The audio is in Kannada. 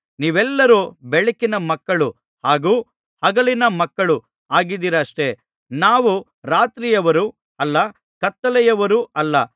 ನೀವೆಲ್ಲರೂ ಬೆಳಕಿನ ಮಕ್ಕಳು ಹಾಗೂ ಹಗಲಿನ ಮಕ್ಕಳು ಆಗಿದ್ದೀರಷ್ಟೆ ನಾವು ರಾತ್ರಿಯವರೂ ಅಲ್ಲ ಕತ್ತಲೆಯವರೂ ಅಲ್ಲ